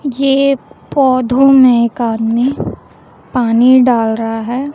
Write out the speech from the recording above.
ये पौधों में एक आदमी पानी डाल रहा है।